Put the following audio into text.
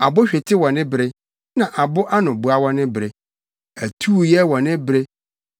abo hwete wɔ ne bere na abo anoboa wɔ ne bere, atuuyɛ wɔ ne bere na ne ntetewmudi nso wɔ ne bere,